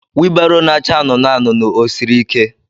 wilbaro na-acha anụnụ anụnụ ọ siri ike?